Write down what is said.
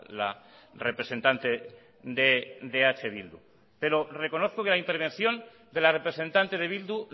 la representante de eh bildu pero reconozco que la intervención de la representante de bildu